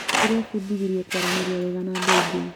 Ndĩrebundithirie kũaranĩria wega na andũ angĩ.